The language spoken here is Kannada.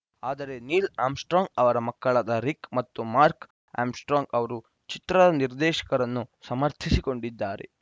ಆದರೆ ನೀಲ್‌ ಆಮ್‌ರ್‍ ಸ್ಟ್ರಾಂಗ್‌ ಅವರ ಮಕ್ಕಳಾದ ರಿಕ್‌ ಮತ್ತು ಮಾರ್ಕ್ ಆಮ್‌ರ್‍ ಸ್ಟ್ರಾಂಗ್‌ ಅವರು ಚಿತ್ರದ ನಿರ್ದೇಶಕರನ್ನು ಸಮರ್ಥಿಸಿಕೊಂಡಿದ್ದಾರೆ